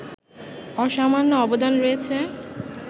অসামান্য অবদান রয়েছে